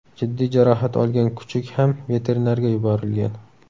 Jiddiy jarohat olgan kuchuk ham veterinarga yuborilgan.